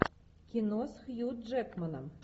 кино с хью джекманом